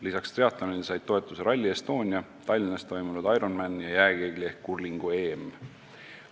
Lisaks triatlonile said toetust Rally Estonia, Tallinnas toimunud Ironman ja jääkeegli ehk kurlingu EM.